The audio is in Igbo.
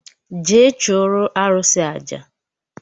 Jee chụụrụ arụsị aja!